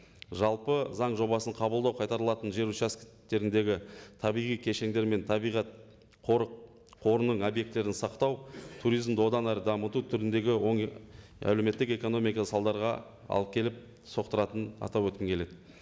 жалпы заң жобасын қабылдау қайтарылатын жер табиғи кешендер мен табиғат қорының объектілерін сақтау туризмді одан әрі дамыту түріндегі оң әлеуметтік экономика салдарға алып келіп соқтыратынын атап өткім келеді